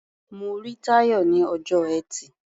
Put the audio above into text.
Mo rí Táyọ̀ ní ọjọ́ Ẹtì.